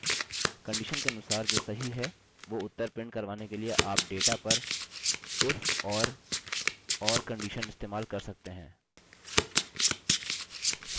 condition के अनुसार जो सही है वो उत्तर प्रिंट करवाने के लिए आप डेटा पर if और or कंडिशन इस्तेमाल कर सकते हैं